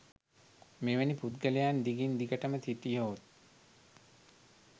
මෙවැනි පුද්ගලයන් දිගින් දිගටම සිටියහොත්